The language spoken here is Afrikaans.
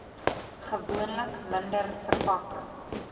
gewoonlik minder verpakking